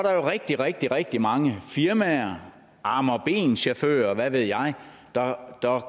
er rigtig rigtig rigtig mange firmaer arme og ben chauffører og hvad ved jeg der